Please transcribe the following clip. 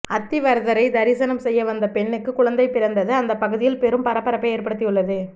அத்திவரதரை தரிசனம் செய்ய வந்த பெண்ணுக்கு குழந்தை பிறந்தது அந்த பகுதியில் பெரும் பரபரப்பை ஏற்படுத்தியுள்ளது